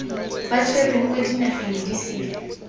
ba tshwerweng kwa dinageng disele